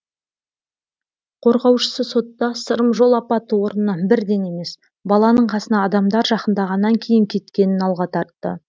қорғаушысы сотта сырым жол апаты орнынан бірден емес баланың қасына адамдар жақындағаннан кейін кеткенін алға тартты